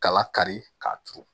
Kala kari k'a turu